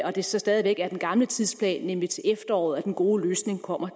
at det så stadig væk er den gamle tidsplan nemlig til efteråret at den gode løsning kommer